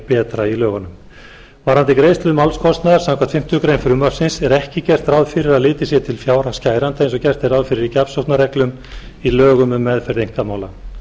betra varðandi greiðslu málskostnaðar samkvæmt fimmtu málsgrein frumvarpsins er ekki gert ráð fyrir að litið sé til fjárhags kæranda eins og gert er ráð fyrir í gjafsóknarreglum í lögum um meðferð einkamála